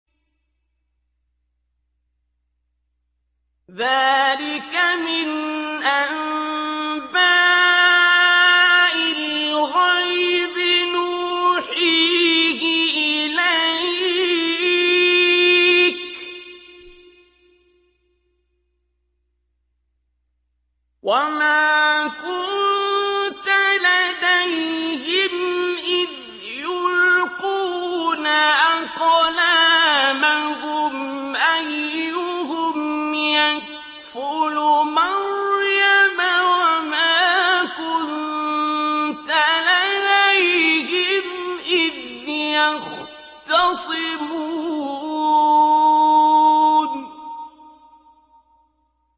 ذَٰلِكَ مِنْ أَنبَاءِ الْغَيْبِ نُوحِيهِ إِلَيْكَ ۚ وَمَا كُنتَ لَدَيْهِمْ إِذْ يُلْقُونَ أَقْلَامَهُمْ أَيُّهُمْ يَكْفُلُ مَرْيَمَ وَمَا كُنتَ لَدَيْهِمْ إِذْ يَخْتَصِمُونَ